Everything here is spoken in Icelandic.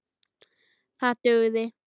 Það dugði.